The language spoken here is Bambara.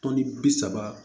Tɔnni bi saba